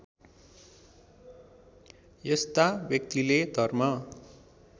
यस्ता व्यक्तिले धर्म